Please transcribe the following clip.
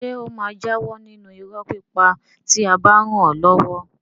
Ṣé ó máa jáwọ́ nínú irọ́ pípa tí a bá ràn án lọ́wọ́?